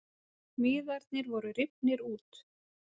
Miðarnir voru rifnir út